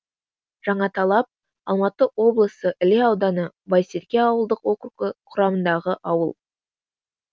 жаңаталап алматы облысы іле ауданы байсерке ауылдық округі құрамындағы ауыл